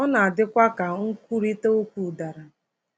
Ọ na-adịkwa ka nkwurịta okwu dara.